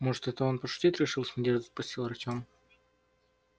может это он пошутить решил с надеждой спросил артем